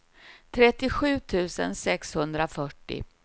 trettiosju tusen sexhundrafyrtio